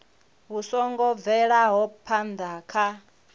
vhu songo bvelaho phana kha